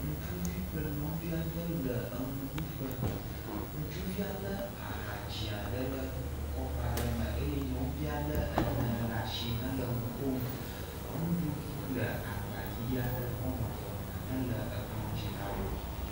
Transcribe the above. ŋutsuvi kple nyɔŋuviaɖe wóle ŋuɖuƒe ŋutsuvia le aha dzia ɖe le kɔpa ɖe me eye nyɔŋuvia le ene ɖasi henɔ ŋukom ŋuɖuɖu le agba yi ɔmeve aɖe me le kplɔ̃ dzi nawo